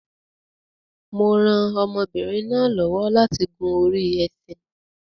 Mo rán ọmọbinrin náà lọ́wọ́ láti gùn orí ẹṣin